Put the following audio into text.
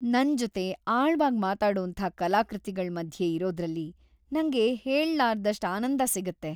ನನ್ ಜೊತೆ ಆಳವಾಗ್ ಮಾತಾಡೋಂಥ ಕಲಾಕೃತಿಗಳ್‌ ಮಧ್ಯೆ ಇರೋದ್ರಲ್ಲಿ ನಂಗೆ ಹೇಳ್ಲಾರದಷ್ಟ್‌ ಆನಂದ ಸಿಗತ್ತೆ.